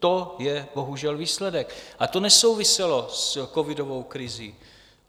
To je bohužel výsledek a to nesouviselo s covidovou krizí.